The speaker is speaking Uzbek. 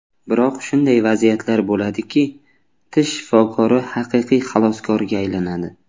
Biroq shunday vaziyatlar bo‘ladiki, tish shifokori haqiqiy xaloskorga aylanadi.